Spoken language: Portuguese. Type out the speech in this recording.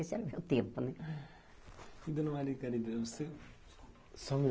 Esse era o meu tempo né.